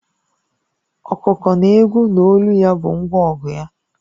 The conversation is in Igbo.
Ọkụkọ na-ekwu na olu ya bụ ngwa ọgụ ya